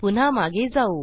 पुन्हा मागे जाऊ